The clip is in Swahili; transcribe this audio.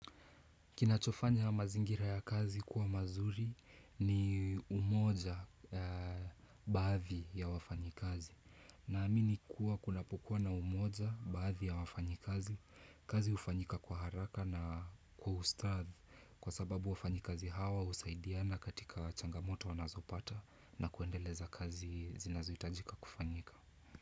Kinachofanya mazingira ya kazi kuwa mazuri ni umoja na baadhi ya wafanyi kazi. Na amini kuwa kunapokuwa na umoja baadhi ya wafanyikazi, kazi ufanyika kwa haraka na kwa usadhi kwa sababu wafanyikazi hawa husaidiana katika changamoto wanazopata na kuendeleza kazi zinazohitajika kufanyika.